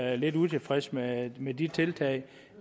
er lidt utilfredse med med de tiltag